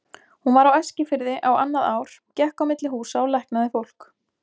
Hún var á Eskifirði á annað ár, gekk á milli húsa og læknaði fólk.